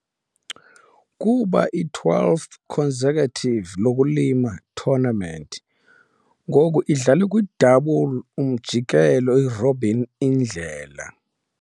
Kuba twelfth consecutive lokulima, tournament ngu idlalwe kwi double umjikelo-robin indlela.